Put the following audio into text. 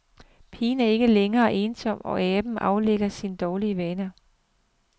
Pigen er ikke længere ensom, og aben aflægger sin dårlige vane.